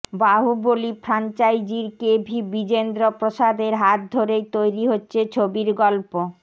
বাহুবলী ফ্রাঞ্চাইজির কে ভি বিজেন্দ্র প্রসাদের হাত ধরেই তৈরি হচ্ছে ছবির গল্প